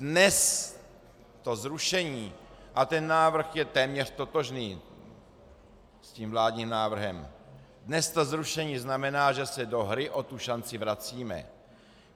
Dnes to zrušení, a ten návrh je téměř totožný s tím vládním návrhem, dnes to zrušení znamená, že se do hry o tu šanci vracíme.